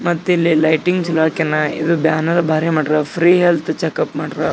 ಮತ್ತಿಲ್ಲಿ ಲೈಟಿಂಗ್ಸ್ ಎಲ್ಲ ಇದು ಬ್ಯಾನೆರ್ ಭಾರಿ ಮಾಡ್ಯಾರ ಫ್ರೀ ಹೆಲ್ತ್ ಚೆಕ್ ಅಪ್ ಮಾಡ್ರ--